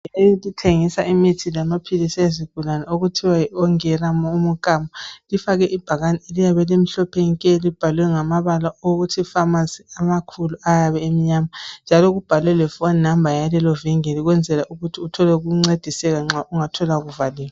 Ivingili, elithengisa imithi lamaphilisi ezigulane. Okuthiwa yONGERA UMUKAMO. lfake ibhakane eliyabe limhlophe nke! Libhalwe ngamabala, athi PHARMACY, amakhulu, ayabe emnyama. Njalo kubhalwe lephone number yalelovingili. Ukwenzela ukuth uthole ukuncediseka, nxa ungathola kuvaliwe.